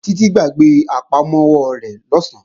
Títí gbàgbé àpamọ́wọ́ rẹ̀ lọ̀sán